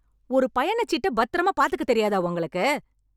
ஒரு பயணச்சீட்ட பத்திரமா பாத்துக்க தெரியாதா உங்களுக்கு?